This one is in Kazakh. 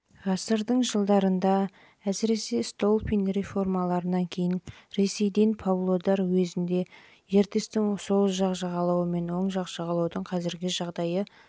ғасырдың жылдарында және әсіресе столыпин реформаларынан кейін ресейден павлодар уезінде ертістің сол жақ жағалауы мен оң жағалаудың қазіргі